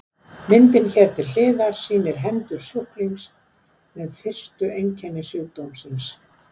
Myndin hér til hliðar sýnir hendur sjúklings með fyrstu einkenni sjúkdómsins.